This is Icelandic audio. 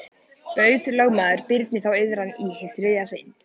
Bauð lögmaður Birni þá iðran í hið þriðja sinn.